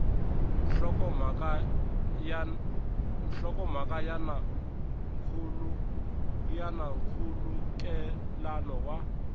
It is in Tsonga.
nhlokomhaka ya na nkhulukelano wa